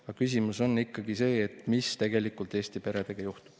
Aga küsimus on ikkagi see, mis tegelikult Eesti peredega juhtub.